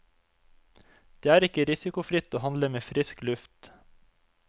Det er ikke risikofritt å handle med frisk luft.